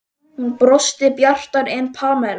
Hún brosti bjartar en Pamela.